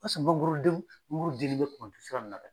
Halisa mangoroden angorodennen bɛ Bukuni sira in na dɛ.